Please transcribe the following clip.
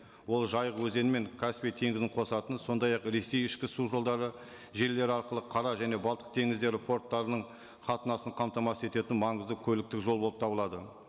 ол жайық өзені мен каспий теңізін қосатын сондай ақ ресей ішкі су жолдары желілері арқылы қара және балтық теңіздері порттарының қатынасын қамтамасыз ететін маңызды көліктік жол болып табылады